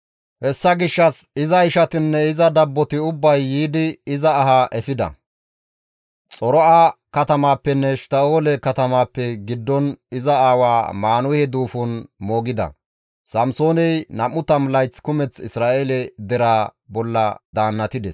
Hessa gishshas iza ishatinne iza dabboti ubbay yiidi iza ahaa efida; Xora7a katamaappenne Eshtta7oole katamaappe giddon iza aawa Maanuhe duufon moogida. Samsooney nam7u tammu layth kumeth Isra7eele deraa bolla daannatides.